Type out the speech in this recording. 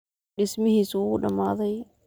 Dhismihiisu wuu dhamaaday.